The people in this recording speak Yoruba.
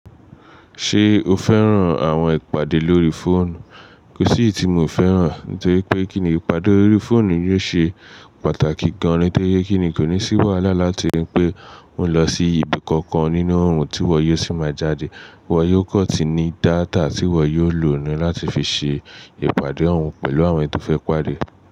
Ṣé o fẹ́ràn àwọn ìpàdé lórí fóònù? Kò sí iyì tí mò fẹ́ràn, nítorí pé kíni ìpàdé lórí fóònù yóò ṣe pàtàkì gan-an, nítorí pé kíni kò ní ṣẹ́ wàhálà láti rí pé ó ń lọ sí ibi kankan nínú òòrùn tí wọ́n yóò sì máa jáde. Wọ́n yóò kọ́ ti ní data tí wọ́n yóò lò ní láti fi ṣe ìpàdé òun pẹ̀lú àwọn tó fẹ́ pàdé.